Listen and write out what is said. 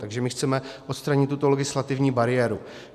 Takže my chceme odstranit tuto legislativní bariéru.